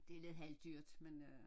Det lidt halvdyrt men øh